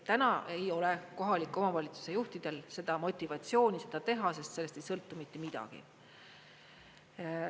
Täna ei ole kohalike omavalitsuste juhtidel motivatsiooni seda teha, sest sellest ei sõltu mitte midagi.